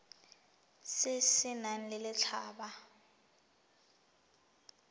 se se nang le letlha